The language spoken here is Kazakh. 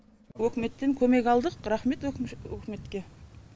өкіметтен көмек алдық рахмет өкіметке